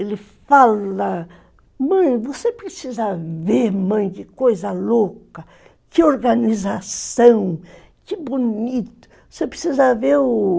Ele fala, mãe, você precisa ver, mãe, que coisa louca, que organização, que bonito, você precisa ver o...